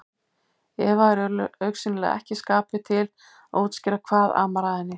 Eva er augsýnilega ekki í skapi til að útskýra hvað amar að henni.